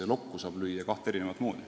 Lokku saab lüüa kahte erinevat moodi.